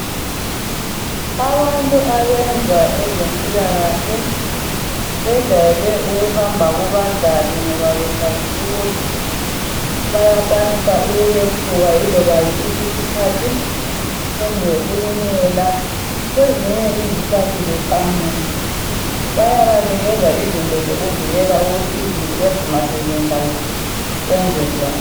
abantu abenza abezempilakahle bajayele ukuhamba kubadlali ngoba besazi ukuthi bayakwanisa ukwephuka iloba yisiphi isikhathi kumbe ukunyela kwezinye izikhathi beqhamuke bayabanikeza izinto zokuvikela ukuthi izinto lezi maseziyenzakele benzenjani